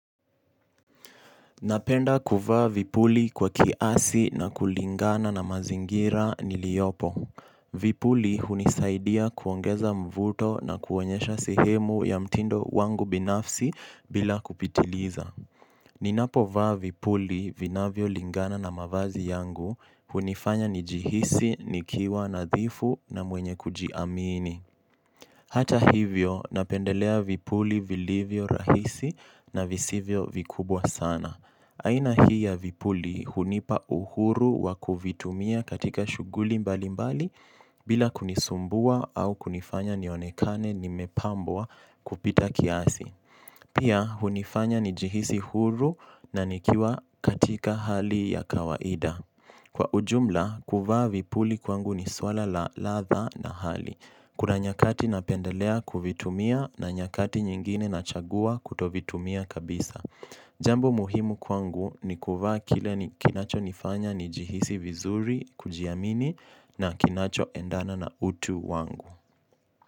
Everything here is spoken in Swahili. Napenda kuvaa vipuli kwa kiasi na kulingana na mazingira niliopo. Vipuli hunisaidia kuongeza mvuto na kuonyesha sehemu ya mtindo wangu binafsi bila kupitiliza. Ninapo vaa vipuli vinavyo lingana na mavazi yangu hunifanya nijihisi, nikiwa, nadhifu na mwenye kujiamini. Hata hivyo, napendelea vipuli vilivyo rahisi na visivyo vikubwa sana. Aina hii ya vipuli hunipa uhuru wa kuvitumia katika shughuli mbali mbali bila kunisumbua au kunifanya nionekane nimepambwa kupita kiasi. Pia, hunifanya nijihisi huru na nikiwa katika hali ya kawaida. Kwa ujumla, kuvaa vipuli kwangu ni swala la ladha na hali. Kuna nyakati napendelea kuvitumia na nyakati nyingine nachagua kutovitumia kabisa. Jambo muhimu kwangu ni kuvaa kile ni kinacho nifanya nijihisi vizuri kujiamini na kinacho endana na utu wangu.